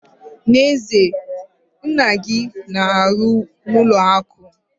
N'ezie? Nna gị na-arụ n'ụlọ akụ!